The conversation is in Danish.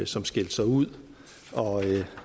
som skilte sig ud